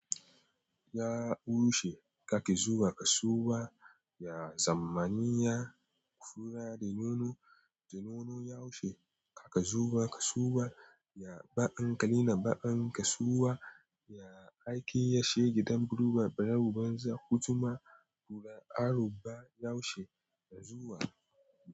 Ya tushe kake zuwa kasuwa, ya zamaniya kura da nono, da nono yaushe kaka zuwa kasuwa, ya baƙan kalina baƙan kasuwa, ya aikin ya she gidan buluba bara rubar za ku jima tura aroba yaushe ka zuwa.